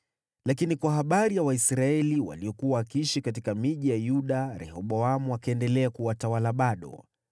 Lakini kwa habari ya Waisraeli waliokuwa wakiishi katika miji ya Yuda, Rehoboamu akaendelea kuwatawala bado.